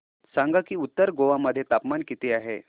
सांगा की उत्तर गोवा मध्ये तापमान किती आहे